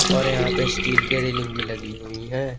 और यहां पर स्टील की रेलिंग भी लगी हुई है।